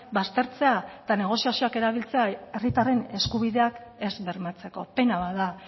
baztertzea eta negoziazioak erabiltzea herritarren eskubideak ez bermatzeko pena bat da